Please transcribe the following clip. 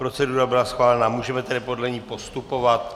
Procedura byla schválena, můžeme tedy podle ní postupovat.